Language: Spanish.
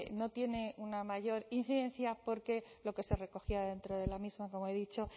no tiene una mayor incidencia porque lo que se recogía dentro de la misma como he dicho